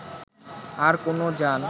আর কোন যান